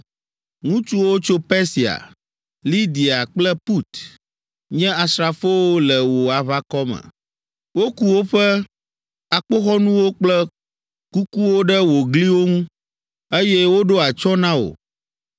“Ŋutsuwo tso Persia, Lidia kple Put nye asrafowo le wò aʋakɔ me. Woku woƒe akpoxɔnuwo kple kukuwo ɖe wò gliwo ŋu, eye woɖo atsyɔ̃ na wò.